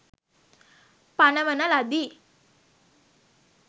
පනවන ලදී.